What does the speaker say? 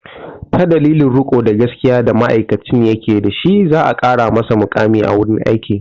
Ta dalilin riko da gaskiya da ma'aikacin ya ke dashi za a ƙara masa muƙami a wurin aiki.